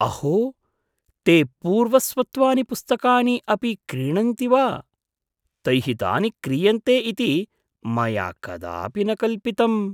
अहो! ते पूर्वस्वत्वानि पुस्तकानि अपि क्रीणन्ति वा? तैः तानि क्रीयन्ते इति मया कदापि न कल्पितम्।